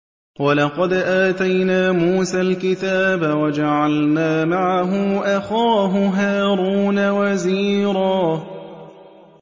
وَلَقَدْ آتَيْنَا مُوسَى الْكِتَابَ وَجَعَلْنَا مَعَهُ أَخَاهُ هَارُونَ وَزِيرًا